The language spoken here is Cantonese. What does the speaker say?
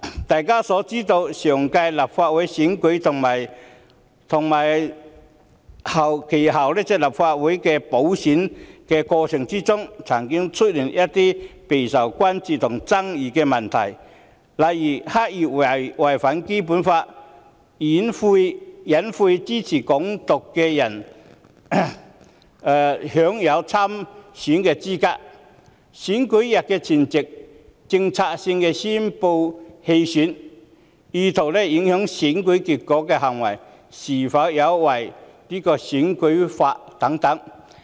大家也知道，上屆立法會選舉和其後的立法會補選曾出現一些備受關注和爭議的問題，例如刻意違反《基本法》、隱晦支持港獨的人有資格參選；有候選人在選舉日前夕策略性宣布棄選，此等意圖影響選舉結果的行為是否有違選舉法例。